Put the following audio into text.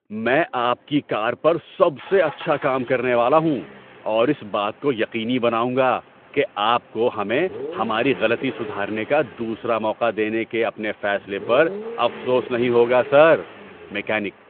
میں آپ کی کار پر سب سے اچھا کام کرنے والا ہوں اور اس بات کو یقینی بناؤں گا کہ آپ کو ہمیں ہماری غلطی سدھارنے کا دوسرا موقع دینے کے اپنے فیصلے پر افسوس نہیں ہوگا، سر! (میکینک)